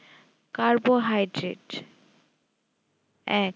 carbohydrate এক